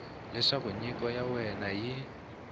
leswaku nyiko ya wena yi